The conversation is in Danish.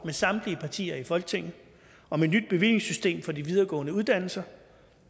med samtlige partier i folketinget om et nyt bevillingssystem for de videregående uddannelser